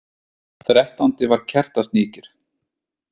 Þrettándi var Kertasníkir,